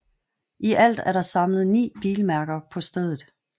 I alt er der samlet ni bilmærker på stedet